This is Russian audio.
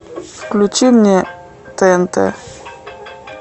включи мне тнт